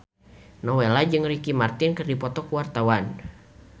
Nowela jeung Ricky Martin keur dipoto ku wartawan